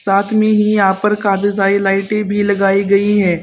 साथ में ही यहाँ पर काफी सारी लाइटें भी लगाई गई हैं।